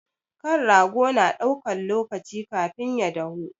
Kan rago na ɗaukan lokaci kafin ya dahu.